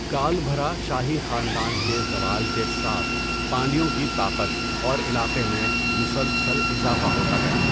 کالبھرا شاہی خاندان کے زوال کے ساتھ، پانڈیوں کی طاقت اور علاقے میں مسلسل اضافہ ہوتا گیا۔